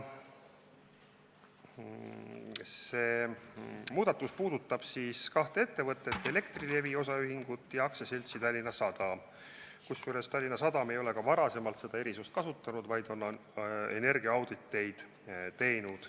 See muudatus puudutab kahte ettevõtet: Elektrilevi Osaühing ja AS Tallinna Sadam, kusjuures Tallinna Sadam ei ole ka varem seda erisust kasutanud, vaid on teinud energiaauditeid.